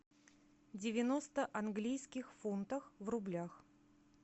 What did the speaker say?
девяносто английских фунтов в рублях